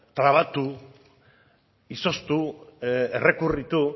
trabatu izoztu errekurritu